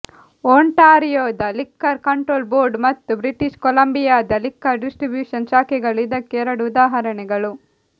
ಓಂಟಾರಿಯೋದ liquor control board ಮತ್ತು British ಕೊಲಂಬಿಯಾದ liquor distribution ಶಾಖೆಗಳು ಇದಕ್ಕೆ ಎರಡು ಉದಾಹರಣೆಗಳು